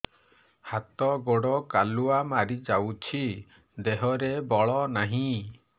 ହାତ ଗୋଡ଼ କାଲୁଆ ମାରି ଯାଉଛି ଦେହରେ ବଳ ନାହିଁ